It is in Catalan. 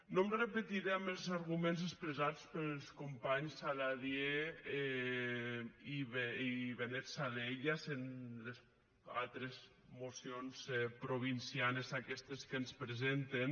no em repetiré amb els arguments expressats pels companys saladié i benet salellas en les altres mocions provincianes aquestes que ens presenten